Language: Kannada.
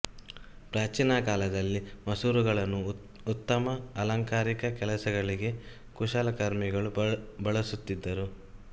ಪ್ರಾಚೀನ ಕಾಲದಲ್ಲಿ ಮಸೂರಗಳನ್ನು ಉತ್ತಮ ಅಲಂಕಾರಿಕ ಕೆಲಸಗಳಿಗೆ ಕುಶಲಕರ್ಮಿಗಳು ಬಳಸುತ್ತಿದ್ದರು